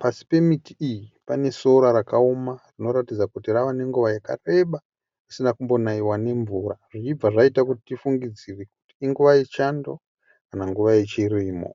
pasi pemiti iyi panesora rakaoma rinoratidza kuti pava nenguva yakareba risina kumbonaiwa nemvura zvichibva zvaita kuti tifungidzire kuti inguva yechando kana nguva yechirimo.